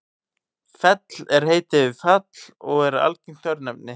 fell er heiti yfir fjall og er algengt örnefni